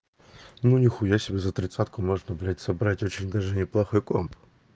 ну нихуя себе за тридцатку можно блять собрать очень даже неплохой комп